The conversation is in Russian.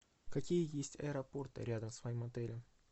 какие есть аэропорты рядом с моим отелем